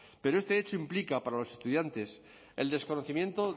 pero este hecho implica para los estudiantes el desconocimiento